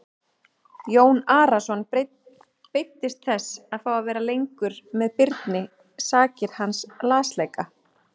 Jón Arason beiddist þess að fá að vera lengur með Birni sakir hans lasleika.